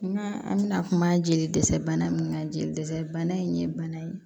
Nka an bɛna kuma jeli dɛsɛ bana min kan jeli dɛsɛ bana in ye bana ye